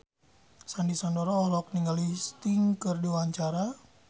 Sandy Sandoro olohok ningali Sting keur diwawancara